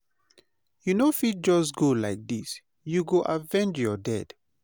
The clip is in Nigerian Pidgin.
you no fit just go like this, you go avenge your dead.